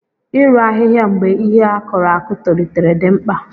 Ị rụ ahịhịa mgbe ihe a kụrụ akụ tolitere dị mkpa.